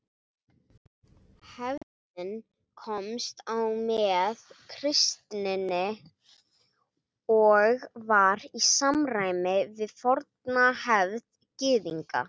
Hefðin komst á með kristninni og var í samræma við forna hefð Gyðinga.